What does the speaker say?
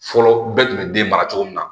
Fɔlɔ bɛɛ tun bɛ den mara cogo min na